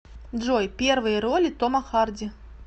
джой первые роли тома харди